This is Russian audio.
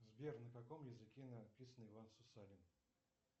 сбер на каком языке написан иван сусанин